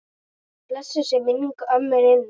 Blessuð sé minning ömmu Ninnu.